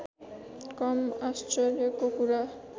कम आश्चर्यको कुरा